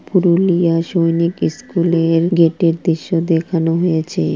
পুরুলিয়া সৈনিক স্কুলে-এ-র গেটের দৃশ্য দেখানো হয়েছে।